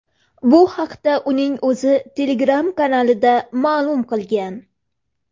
Bu haqda uning o‘zi Telegram-kanalida ma’lum qilgan.